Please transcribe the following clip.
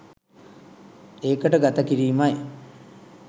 එකට ගත කිරීම යි.